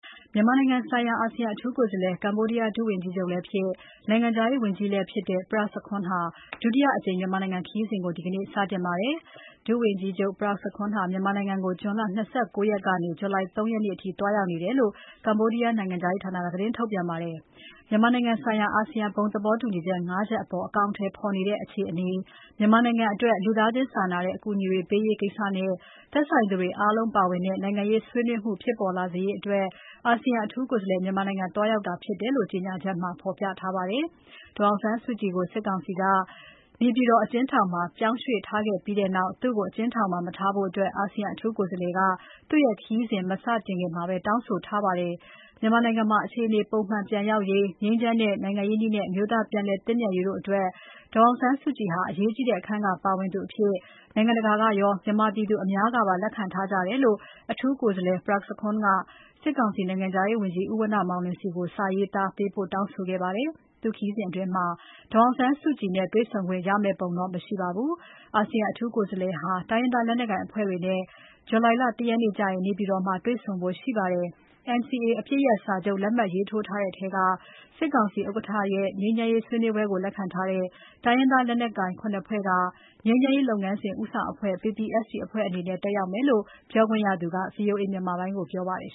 မြန်မာနိုင်ငံဆိုင်ရာ အာဆီယံအထူးကိုယ်စားလှယ် ကမ္ဘောဒီးယားဒုဝန်ကြီးချုပ်လည်းဖြစ်၊ နိုင်ငံခြားရေးဝန်ကြီးလည်းဖြစ်တဲ့ Prak Sokhonn ဟာ ဒုတိယအကြိမ် မြန်မာနိုင်ငံခရီးစဉ်ကို ဒီနေ့ စတင်ပါတယ်။ ဒုဝန်ကြီးချုပ် Prak Sokhonn ဟာ မြန်မာနိုင်ငံကို ဇွန်လ ၂၉ ရက်ကနေ ဇူလိုင်လ ၃ ရက်နေ့အထိ သွားရောက်နေတယ်လို့ ကမ္ဘောဒီးယားနိုင်ငံခြားရေးဌာနက သတင်းထုတ်ပြန်ပါတယ်။ မြန်မာနိုင်ငံဆိုင်ရာ အာဆီယံဘုံသဘောတူညီချက် ၅ ချက်အပေါ် အကောင်အထည်ဖော်နေတဲ့ အခြေအနေ၊ မြန်မာနိုင်ငံအတွက် လူသားချင်းစာနာတဲ့ အကူအညီတွေ ပေးရေးကိစ္စနဲ့ သက်ဆိုင်သူတွေအားလုံးပါဝင်တဲ့ နိုင်ငံရေးဆွေးနွေးမှုုဖြစ်ပေါ်လာစေရေးတို့အတွက် အာဆီယံအထူးကိုယ်စားလှယ် မြန်မာနိုင်ငံသွားရောက်တာဖြစ်တယ်လို့ ကြေညာချက်မှာ ဖော်ပြထားပါတယ်။ ဒေါ်အောင်ဆန်းစုကြည်ကို စစ်ကောင်စီက နေပြည်တော်အကျဉ်းထောင်မှာ ပြောင်းရွှေ့ထားခဲ့ပြီးနောက် သူ့ကို အကျဉ်းထောင်ထဲမှာ မထားဘို့အာဆီယံအထူးကိုယ်စားလှယ်က သူ့ခရီးစဉ် မစခင်တောင်းဆိုခဲ့ပါတယ်။ မြန်မာနိုင်ငံမှာ အခြေအနေ ပုံမှန်ပြန်ရောက်ရေး၊ ငြိမ်းချမ်းတဲ့ နိုင်ငံရေးနည်းနဲ့ အမျိုးသားပြန်လည်သင့်မြတ်ရေးတို့အတွက် ဒေါ်အောင်ဆန်းစုကြည်ဟာ အရေးကြီးတဲ့ အခန်းကပါဝင်သူအဖြစ် နိုင်ငံတကာကရော မြန်မာပြည်သူအများစုကပါ လက်ခံထားကြတယ်လို့ အထူးကိုယ်စားလှယ် Prak Sokhonn က စစ်ကောင်စီနိုင်ငံခြားရေးဝန်ကြီး ဦးဝဏ္ဏမောင်လွင်ဆီကို စာရေးသားပေးပို့ တောင်းဆိုခဲ့ပါတယ်။ သူ့ခရီးစဉ်အတွင်း ဒေါ်အောင်ဆန်းစုကြည်နဲ့ တွေ့ဆုံခွင့်တော့ ရမယ့်ပုံ မရှိပါဘူး။ အာဆီယံအထူးကိုယ်စားဟာ တိုင်းရင်းသားလက်နက်ကိုင်အဖွဲ့တွေနဲ့ ဇူလိုင်လ ၁ရက်နေ့ကျရင် နေပြည်တော် မှာ တွေ့ဆုံဖို့ရှိပါတယ်။ NCA အပစ်ရပ်စာချုပ် လက်မှတ်ရေးထိုးထားတဲ့ထဲက စစ်ကောင်စီဥက္ကဋ္ဌရဲ့ ငြိမ်းချမ်းရေးဆွေးနွေးပွဲကို လက်ခံထားတဲ့ တိုင်းရင်းသားလက်နက်ကိုင် ၇ ဖွဲ့က ငြိမ်းချမ်းရေး လုပ်ငန်းစဉ် ဦးဆောင်အဖွဲ့ PPST အဖွဲ့အနေနဲ့ တက်ရောက်မယ်လို့ ပြောခွင့်ရသူက VOA မြန်မာပိုင်းကို ပြောပါတယ်